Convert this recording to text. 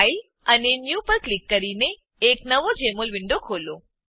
file અને new પર click કરીને એક નવો જેમોલ વિન્ડો ખોલો